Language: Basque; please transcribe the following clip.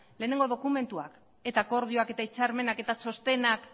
lehenengo dokumentuak eta akordioak eta hitzarmenak eta txostenak